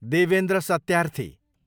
Devendra Satyarthi